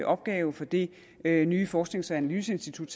opgave for det nye nye forsknings og analyseinstitut